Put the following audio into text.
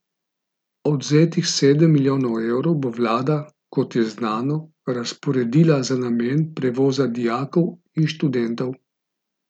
Odvzetih sedem milijonov evrov bo vlada, kot je znano, razporedila za namen prevoza dijakov in študentov.